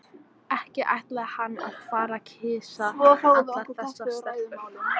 Ekki ætlaði hann að fara að kyssa allar þessar stelpur.